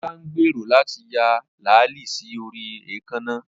Olá ń gbèrò láti ya làálí sí orí èékánná